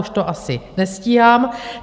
Už to asi nestíhám.